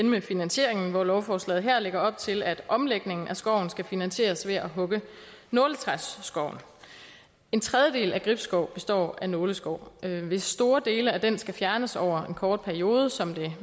med finansieringen hvor lovforslaget her lægger op til at omlægningen af skoven skal finansieres ved at hugge nåletræsskoven en tredjedel af gribskov består af nåleskov hvis store dele af den skal fjernes over en kort periode som det